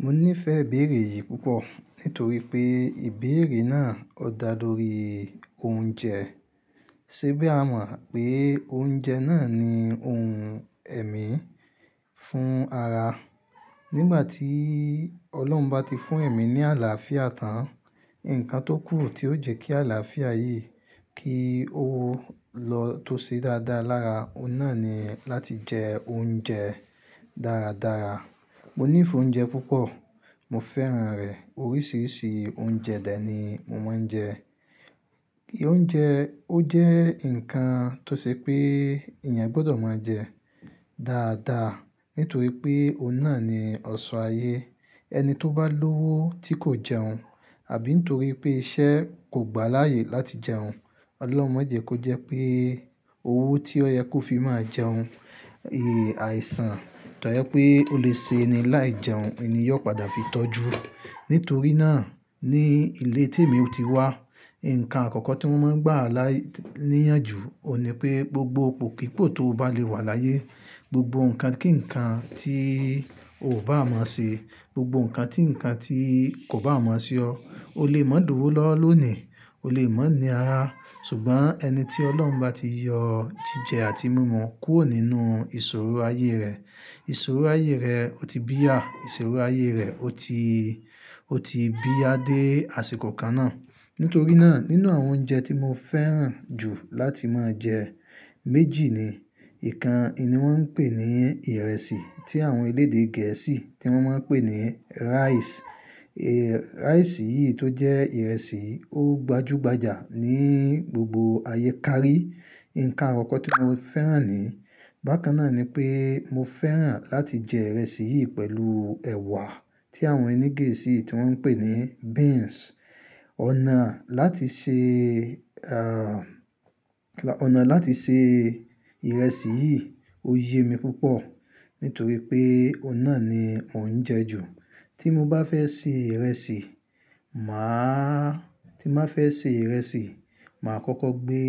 Mo nífẹ̀ẹ́ ìbéèrè yìí púpọ̀ nítorí pé ìbéèrè náà o dá lórí oúnjẹ. Sẹ́bí a mọ̀ pé oúnjẹ náà ni ohun ẹ̀mí fún ara. Nígbà tí Ọlọ́run bá ti fún ẹ̀mí ní àlàáfíà tán, ǹkan tó kù tí ó jẹ́ kí àlàáfíà yìí kí ó lọ tó ṣe dáadáa lára, òun náà ni láti jẹ oúnjẹ dáradára. Mo nífẹ̀ẹ́ oúnjẹ púpọ̀, mo fẹ́ràn rẹ̀. Oríṣìíríṣìí oúnjẹ de ni mo máa ń jẹ. Oúnjẹ, ó jẹ́ ǹnkan tó ṣe pé èèyàn gbọ́dọ̀ máa jẹ dáadáa nítorí pé òun náà ni ọ̀ṣọ́ ayé. Ẹni tó bá lówó tí kò jẹun àbí n torí pé iṣẹ́ kò gbà á láyè láti jẹun, Ọlọ́run máa jẹ kó jẹ́ pé owó tí ó yẹ kó fi máa jẹun, èè àìsàn tó jẹ pé ó lè ṣe ẹni láì jẹun, n ni yóò padà fi tọ́jú. Nítorí náà ní ilé tí èmi o ti wá, ǹnkan àkọ́kọ́ tí wọ́n máa ń gbà á lá níyànjú òun ni pé gbogbo ipò pípò tó bá le wà láyé, gbogbo nǹkan kí nǹkan tí ò bá mọ̀ ṣe, gbogbo nǹkan tí nǹkan tí kò bá mọ̀ sí ọ, o lè máa dọ́wọ́ lónìí, o lè máa ní ara. Ṣùgbọ́n ẹni tí Ọlọ́run bá ti yọ jíjẹ àti mímu kúrò nínú ìṣòro ayé rẹ̀, ìṣòro ayé rẹ̀ ó ti bíyà, ìṣòro ayé rẹ̀ ó ti, ó ti bíyà dé àsìkò kan náà. Nítorí náà nínú àwọn oúnjẹ tí mo fẹ́ràn jù láti máa jẹ, méjì ni. Ìkan n ni wọn pè ní ìrẹsì tí àwọn elédè Gẹ̀ẹ́sì tí wọ́n máa ń pè ní rice. Rice yìí tó jẹ́ ìrẹsì ó gbajúgbajà ní gbogbo ayé. Kárí, ǹnkan àkọ́kọ́ tí mo fẹ́ràn nii. Bákan náà ni pé mo fẹ́ràn láti jẹ ìrẹsì yìí pẹ̀lú ẹ̀wà tí àwọn ẹni Gẹ̀ẹ́sì tí wọ́n ń pè ní beans. Ọ̀nà láti ṣe, à, ọnà láti ṣe ìrẹsì yìí ó yẹ mi púpọ̀ nítorí pé òun náà ni mò ń jẹ ju. Tí mo bá fẹ́ sè ìrẹsì, màá-- tí n ba fẹ́ sè ìrẹsì, màá kọ́kọ́ gbé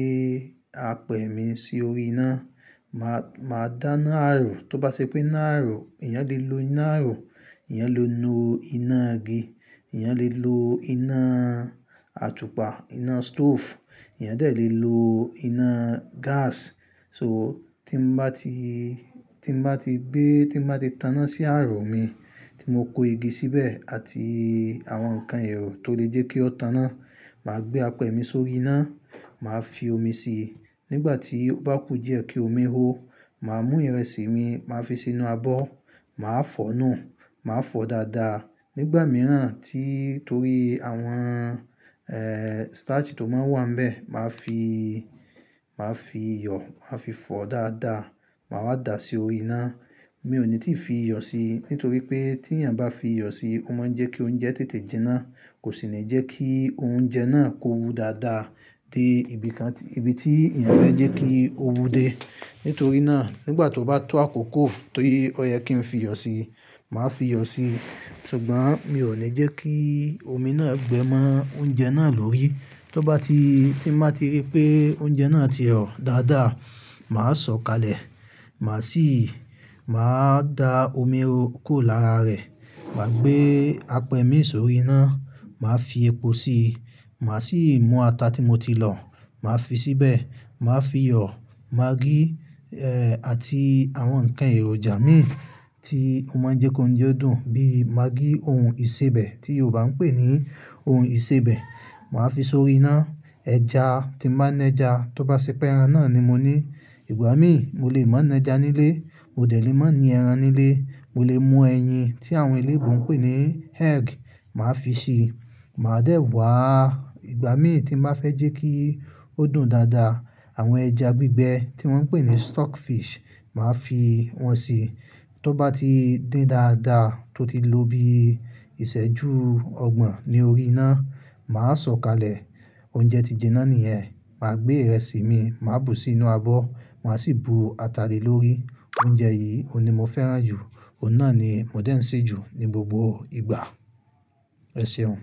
apẹ̀ mi si órí iná. Màá, màá dáná àrọ̀. Tó bá ṣe pé iná àrọ̀, èèyàn lè lo iná àrọ̀, èèyàn lè lo iná igi, èèyàn lè lo iná àtùpà, iná stove, èèyàn lè lo iná gas. So tí n bá ti, tí n bá ti gbé, tí n bá ti taná sí àrọ̀ mi tí mo kó igi síbẹ̀ àti àwọn ǹnkan èrò tó lè jẹ́ kí ó taná, màá gbé apẹ̀ mi sórí iná, màá fi omi si. Nígbà tí ó bá kù díẹ̀ kí omi hó, màá mú ìrẹsì mi, màá fi sínú abọ́, màá fọ́nù, màá fọ dáadáa. Nígbà mìíràn tí torí àwọn, ẹ́ẹ́, starch tó máa ń wà n bẹ̀, màá fi, màá fi iyọ̀, màá fi fọ dáadáa, màá wá dà á si órí iná. Mi ò ní ti fi iyọ̀ si nítorí pé tí èèyàn bá fi iyọ̀ si, ó máa ń jẹ́ kí oúnjẹ tètè jinná, kò sì ní jẹ́ kí oúnjẹ náà kó wu dáadáa dé ibi kan tí, ibi tí èèyàn fẹ́ jẹ́ kí ó wù dé. Nítorí náà nígbà tó bá tó àkókò tó yẹ kí n fi iyọ̀ si, màá fi iyọ̀ si. Ṣùgbọ́n mi ò ní jẹ́ kí omi náà gbẹ mọ́ oúnjẹ náà lórí. Tó bá ti, tí n bá ti rí pé oúnjẹ náà ti rọ̀ dáadáa, màá sọ̀ kalẹ̀, màá sì, màá da omi ro kuro lára rẹ̀. Màá gbé apẹ̀ mi sórí iná, màá fi epo sí i, màá sì mú ata tí mo ti lọ̀, màá fi síbẹ̀, màá fi iyọ̀, maggi, ẹ́, àti àwọn ǹnkan èròjà mi tí ó máa ń jẹ́ kó oúnjẹ dùn bí i maggi ohun ìsebẹ̀ tí Yorùbá ń pè ní ohun ìsebẹ̀, màá fi sórí iná. Ẹja tí n ba ni ẹja, tó bá ṣe pé ẹran náà ni mo ní. Ìgbà mí, mo lè má ni ẹja nílé, mo dè le mo ní ẹran nílé, mo lè mú ẹyin tí àwọn eléèbo ń pè ní egg, màá fi si, màá dẹ̀ wá ìgbà mí tí n bá fẹ́ jẹ́ kí ó dùn dáadáa. Àwọn ẹja gbígbẹ tí wọ́n ń pè ní stock fish, màá fi wọn sii. Tó bá ti dín dáadáa tó ti lóbi ìsẹ́jú ọgbọ̀n ni orí iná, màá sọ̀ kalẹ̀. Oúnjẹ ti jinná niyẹ́n. Màá gbé ìrẹsì mi, màá bù sí inú abọ́, màá sì bu ata le lórí. Oúnjẹ yìí òun ni mo fẹ́ràn jù, òun náà ni mò ń dé ń sè jù ní gbogbo ìgbà. Ẹ ṣeun.